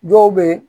Dɔw bɛ yen